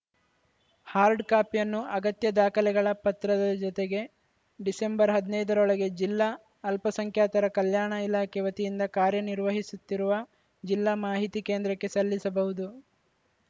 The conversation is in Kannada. ಹಾರ್ಡ್‌ ಕಾಪಿಯನ್ನು ಅಗತ್ಯ ದಾಖಲೆಗಳ ಪತ್ರದ ಜೊತೆಗೆ ಡಿಸೆಂಬರ್ ಹದ್ನೈದರೊಳಗೆ ಜಿಲ್ಲಾ ಅಲ್ಪಸಂಖ್ಯಾತರ ಕಲ್ಯಾಣ ಇಲಾಖೆ ವತಿಯಿಂದ ಕಾರ್ಯನಿರ್ವಹಿಸುತ್ತಿರುವ ಜಿಲ್ಲಾ ಮಾಹಿತಿ ಕೇಂದ್ರಕ್ಕೆ ಸಲ್ಲಿಸಬಹುದು